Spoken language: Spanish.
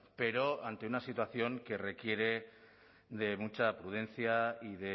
pero ante una situación que requiere de mucha prudencia y